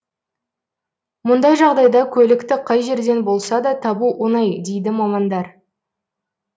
мұндай жағдайда көлікті қай жерден болса да табу оңай дейді мамандар